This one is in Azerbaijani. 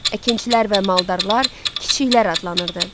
Əkinçilər və maldarlar kiçiklər adlanırdı.